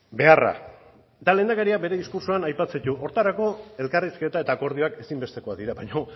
beharra eta lehendakariak bere diskurtsoan aipatzen ditu horretarako elkarrizketa eta akordioak ezinbestekoak dira baina